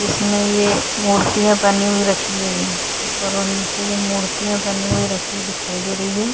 जिसमे ये मूर्तीया बनी हुई रखी है करो नीचे ये मूर्तीया बनी हुई रखी दिखाई दे रही है।